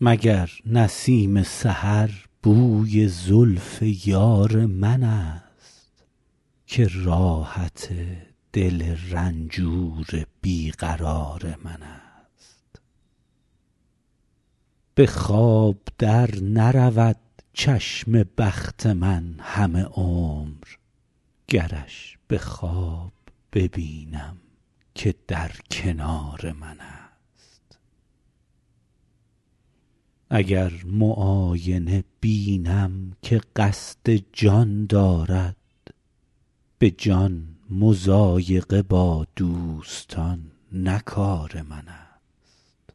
مگر نسیم سحر بوی زلف یار منست که راحت دل رنجور بی قرار منست به خواب در نرود چشم بخت من همه عمر گرش به خواب ببینم که در کنار منست اگر معاینه بینم که قصد جان دارد به جان مضایقه با دوستان نه کار منست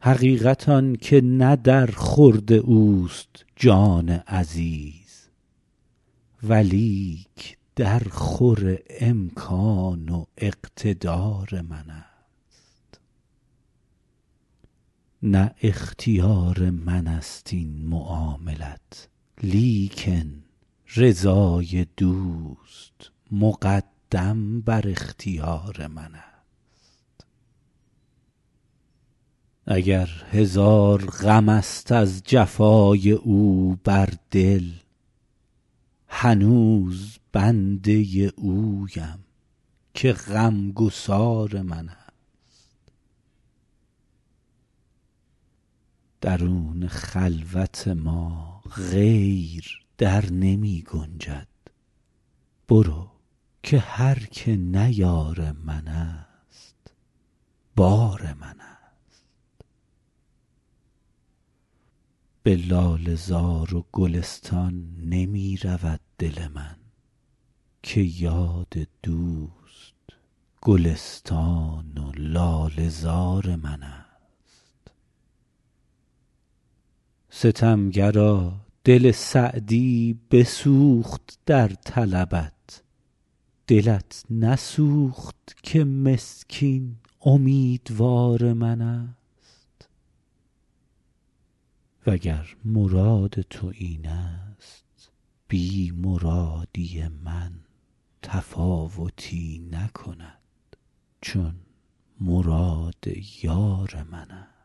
حقیقت آن که نه در خورد اوست جان عزیز ولیک درخور امکان و اقتدار منست نه اختیار منست این معاملت لیکن رضای دوست مقدم بر اختیار منست اگر هزار غمست از جفای او بر دل هنوز بنده اویم که غمگسار منست درون خلوت ما غیر در نمی گنجد برو که هر که نه یار منست بار منست به لاله زار و گلستان نمی رود دل من که یاد دوست گلستان و لاله زار منست ستمگرا دل سعدی بسوخت در طلبت دلت نسوخت که مسکین امیدوار منست و گر مراد تو اینست بی مرادی من تفاوتی نکند چون مراد یار منست